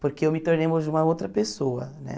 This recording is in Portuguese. Porque eu me tornei hoje uma outra pessoa, né?